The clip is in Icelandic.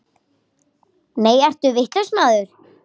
Nei, ertu vitlaus maður!